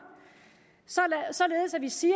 således at vi siger